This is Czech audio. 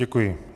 Děkuji.